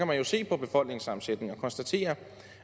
man jo se på befolkningssammensætningen og konstatere